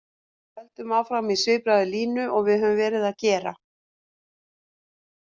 Við höldum áfram í svipaðri línu og við höfum verið að gera.